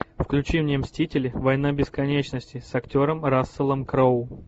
включи мне мстители война бесконечности с актером расселом кроу